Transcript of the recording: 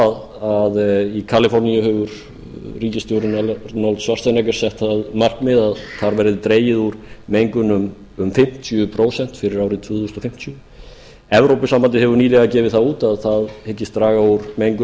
að í kaliforníu hefur ríkisstjórinn sett að markmiði að þar verði dregið úr mengun um fimmtíu prósent fyrir árið tvö þúsund fimmtíu evrópusambandið hefur nýverið gefið það út að það hyggist draga úr mengun